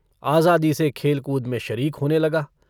आज़ादी से खेल-कूद में शरीक होने लगा।